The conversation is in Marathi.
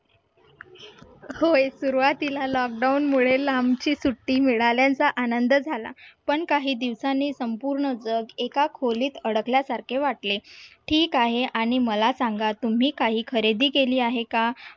होय सुरुवातीला lockdown मुळे लांबची सुट्टी मिळाल्यांच्या आनंद झाला पण काही दिवसांनी संपूर्ण जग एका खोलीत अडकल्यासारखे वाटले ठीक आहे आणि मला सांगा तुम्ही काही खरेदी केली आहे का?